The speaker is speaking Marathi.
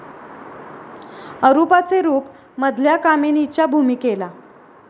अरुपाचे रूप ' मधल्या कामिनीच्या भूमिकेला